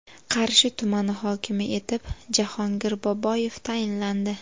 Qarshi tumani hokimi etib Jahongir Boboyev tayinlandi.